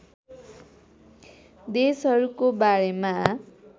देशहरूको बारेमा